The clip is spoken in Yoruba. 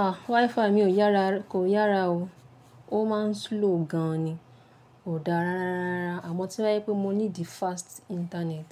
A! WiFi mi o yàrá kò yára o. Ó máa ń slow gan ni, kò dára rárá. Àmọ̀ to bájẹ pé mo need fast internet,